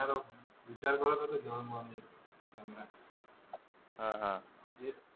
ओह मी विचार करत होतो घेऊ का कॅमेरा? अह घे.